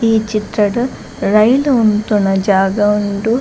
ಈ ಚಿತ್ರಡ್ ರೈಲ್ ಉಂತುನ ಜಾಗ ಉಂಡು.